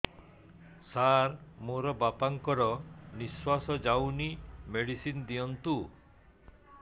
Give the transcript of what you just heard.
ସାର ମୋର ବାପା ଙ୍କର ନିଃଶ୍ବାସ ଯାଉନି ମେଡିସିନ ଦିଅନ୍ତୁ